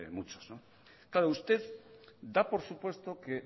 muchos claro usted da por supuesto que